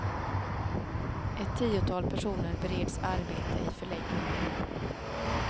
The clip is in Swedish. Ett tiotal personer bereds arbete i förläggningen.